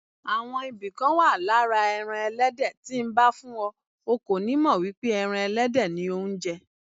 Àwọn ibì kan wà lára ẹran Ẹlẹ́dẹ̀ tí nbá fún ọ, o kò nímọ̀ wípé ẹran Ẹlẹ́dẹ̀ ni ò ńjẹ.